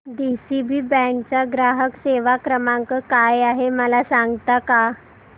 DCB bank चा ग्राहक सेवा क्रमांक काय आहे मला सांगता का